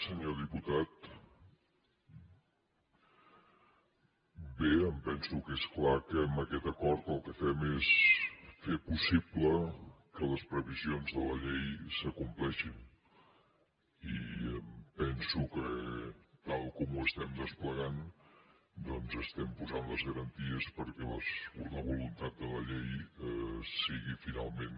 senyor diputat bé em penso que és clar que amb aquest acord el que fem és fer possible que les previsions de la llei s’acompleixin i em penso que tal com ho estem desplegant doncs estem posant les garanties perquè la voluntat de la llei sigui finalment